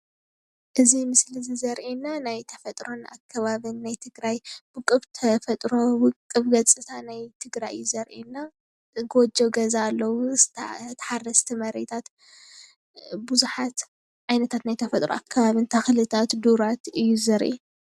እዚ ምስሊ ዘርእየና ናይ ተፈጥሮ ኣከባቢን ናይ ትገራይ ውቅብ ተፈጥሮ ውቅብ ገፀናታ ናይ ትግራይ እዩ ዘርእየና፡፡ ጎጆ ገዛ ኣለዉ ተሓራሲ መሬታት ቡዙሓት ዓይነታት ናይ ተፈጥሮ ኣከባቢን ተክለታት ዱራት እዩ ዘርኢ፡፡